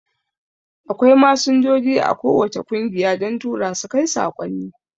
Akwai Masinjoji a ko wacce kungiya don Turasu kai saƙonni